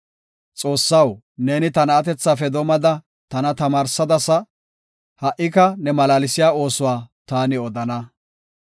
Xoossaw, neeni ta na7atethafe doomada tana tamaarsadasa; ha77ika ne malaalsiya oosuwa ta odana.